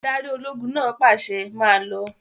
Adarí ológun náà pàṣẹ, 'Máa lọ!